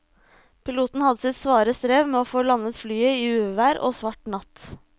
Piloten hadde sitt svare strev med å få landet flyet i uvær og svart natt.